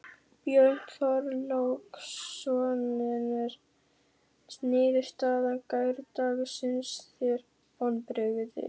Björn Þorláksson: En er niðurstaða gærdagsins þér vonbrigði?